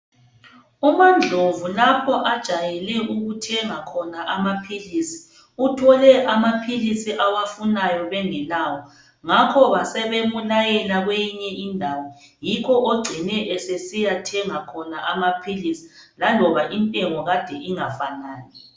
UMandlovu lapho ajayele ukuthenga khona amaphilisi uthole amaphilisi awafunayo bengelawo ngakho basebemulayela kweyinye indawo yikho ogcine esesiyathenga khona amaphilisi laloba intengo Kade ingafanani